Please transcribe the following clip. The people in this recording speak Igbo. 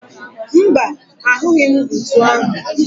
Mba, ahụghi m ntu ahụ